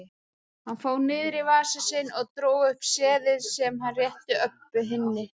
Hann fór niður í vasa sinn og dró upp seðil sem hann rétti Öbbu hinni.